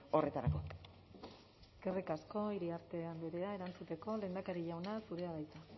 horretarako eskerrik asko iriarte andrea erantzuteko lehendakari jauna zurea da hitza